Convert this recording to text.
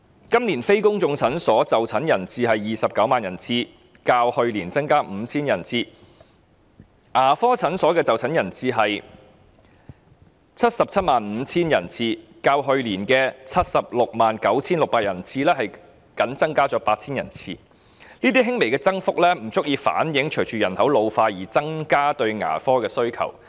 今年非公眾診所的就診人次為 290,000 人次，較去年增加 5,000 人次；牙科診所的就診人次為 775,000 人次，較去年 769,600 人次僅增加 8,000 人次，這輕微的預算增幅不足以應付牙科服務需求隨人口老化而出現的增長。